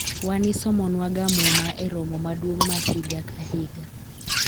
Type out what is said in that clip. wan isomo nwaga muma e romo maduong' ma higa ka higa